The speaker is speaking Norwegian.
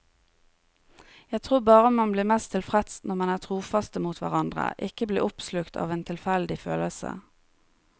Jeg tror bare man blir mest tilfreds når man er trofaste mot hverandre, ikke blir oppslukt av en tilfeldig følelse.